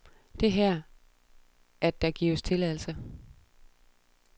Det her, at der gives tilladelse.